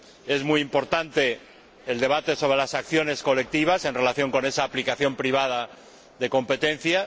Es muy importante el debate sobre las acciones colectivas en relación con esa aplicación privada de la política de competencia.